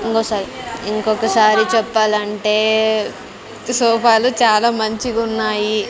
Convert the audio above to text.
ఇంగోసారి ఇంకొకసారి చెప్పాలంటే సోఫాలు చాలా మంచిగున్నాయి.